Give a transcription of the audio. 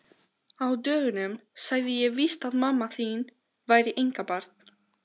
Á dögunum sagði ég víst að mamma þín væri einkabarn.